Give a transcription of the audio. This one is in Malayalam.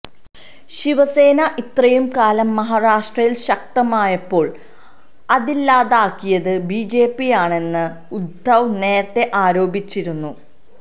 ശിവസേന ഇത്രയും കാലം മഹാരാഷ്ട്രയില് ശക്തമായപ്പോള് അതില്ലാതാക്കിയത് ബിജെപിയാണെന്ന് ഉദ്ധവ് നേരത്തെ ആരോപിച്ചിരുന്നു